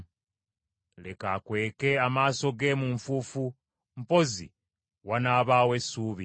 Leka akweke amaaso ge mu nfuufu, mpozi wanaabaawo essuubi.